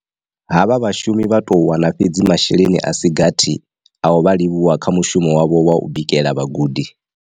Havha vha shumi vha tou wana fhedzi masheleni a si gathi a u vha livhuwa kha mushumo wavho wa u bikela vhagudi.